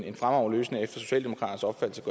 en fremragende løsning efter socialdemokraternes opfattelse